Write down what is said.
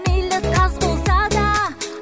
мейлі таз болса да